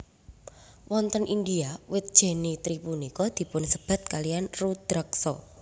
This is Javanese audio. Wonten India wit jenitri punika dipunsebat kalian Rudraksa